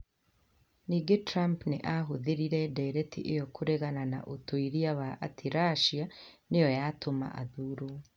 Ningĩ Trump nĩ aahũthĩrire ndeereti ĩyo kũregana na ũtuĩria wa atĩ Russia nĩ yo yatũma athuurwo.